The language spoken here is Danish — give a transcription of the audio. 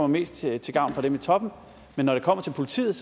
mest er til gavn for dem i toppen men når det kommer til politiet